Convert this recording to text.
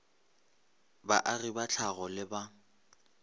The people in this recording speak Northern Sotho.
baagi ba tlhago le ba